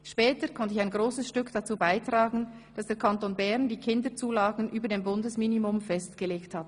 Später konnte ich ein grosses Stück dazu beitragen, dass der Kanton Bern die Kinderzulagen über dem Bundesminimum festgelegt hat.